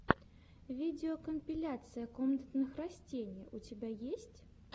видеокомпиляция комнатных растений у тебя есть